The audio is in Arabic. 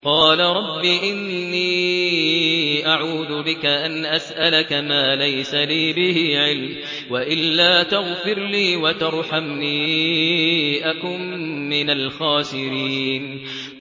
قَالَ رَبِّ إِنِّي أَعُوذُ بِكَ أَنْ أَسْأَلَكَ مَا لَيْسَ لِي بِهِ عِلْمٌ ۖ وَإِلَّا تَغْفِرْ لِي وَتَرْحَمْنِي أَكُن مِّنَ الْخَاسِرِينَ